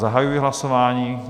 Zahajuji hlasování.